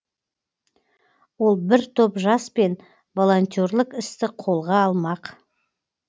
ол бір топ жаспен волонтерлік істі қолға алмақ